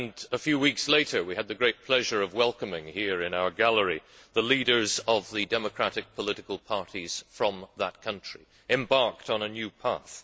A few weeks later, we had the great pleasure of welcoming here in our gallery the leaders of the democratic political parties from that country, embarked on a new path.